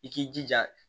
I k'i jija